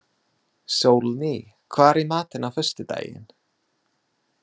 Sólný, hvað er í matinn á föstudaginn?